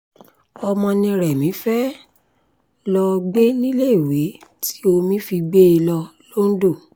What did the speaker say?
ọmọ ni remi fee lọ̀ọ́ gbé níléèwé tí omi fi gbé e lọ londo